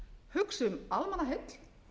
hugsa um almannaheill